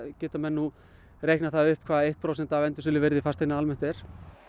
geta menn nú reiknað það upp hvað eitt prósent af endursöluvirði fasteigna almennt er